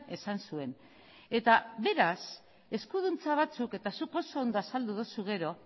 esan zuen eta beraz eskuduntza batzuk eta zuk oso ondo azaldu duzu gero